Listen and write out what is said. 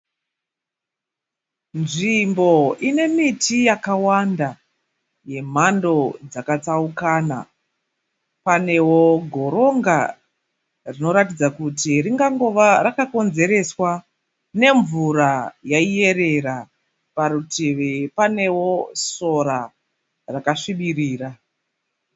Nzvimbo inemiti yakawanda yemhando dzakatsaukana panewo goronga rinoratidza kuti rikangova rakakonzereswa nemvura yaiyerera. Parutivi panewo sora rakasvibirira.